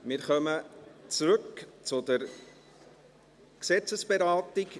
Wir kommen zurück zur Gesetzesberatung.